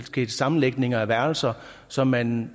skete sammenlægninger af værelser så man